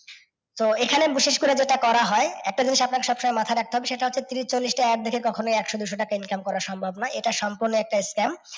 তো এখানে বিশেষ করে যেটা করা হয় একটা জিনিস আপনাকে সব সময় মাথায় রাখতে হবে সেটা হচ্ছে তিরিশ, ছল্লিশ টা ad দেখে কখনই একশো, দুশো টাকা income করা সম্ভব না, এটা সম্পূর্ণ একটা scam